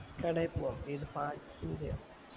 കടേൽ പോകാം ഏത് parts ന്റെയോ